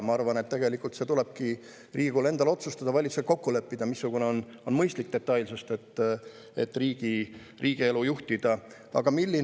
Ma arvan, et tegelikult see tulebki Riigikogul endal ära otsustada ja valitsusel kokku leppida, missugune on mõistlik riigielu juhtimise detailsus.